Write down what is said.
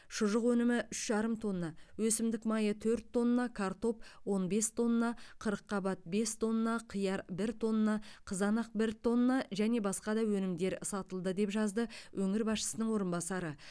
шұжық өнімі үш жарым тонна өсімдік майы төрт тонна картоп он бес тонна қырыққабат бес тонна қияр бір тонна қызанақ бір тонна және басқа да өнімдер сатылды деп жазды өңір басшысының орынбасары